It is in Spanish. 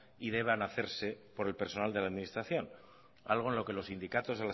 y deban hacerse por el personal de la administración algo en lo que los sindicatos